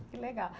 Que legal.